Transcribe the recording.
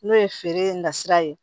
N'o ye feere nasira ye